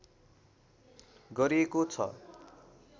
गरिएको छ।